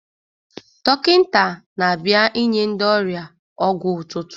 Dọkịta na-abịa inye ndị ọrịa ọgwụ ụtụtụ.